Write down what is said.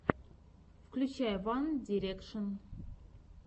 включай ван дирекшен